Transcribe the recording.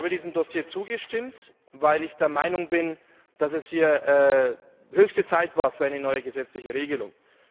Ich habe diesem Dossier zugestimmt, weil ich der Meinung bin, dass es hier höchste Zeit war für eine neue gesetzliche Regelung.